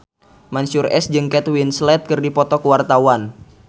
Mansyur S jeung Kate Winslet keur dipoto ku wartawan